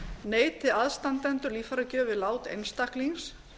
neiti aðstandendur líffæragjöf við lát einstaklings